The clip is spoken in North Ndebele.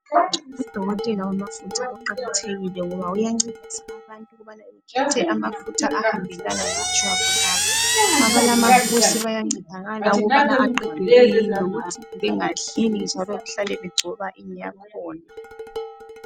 Udokotela wamafutha uqakathekila ngoba uyancedisa abantu ukubana bekhethe amafutha ahambelana lejwabu labo. Abalamafusi bayancedakala ukubana aqedwe kuyini lokuthi bengadlini njalo behlale begcoba ini yakhona.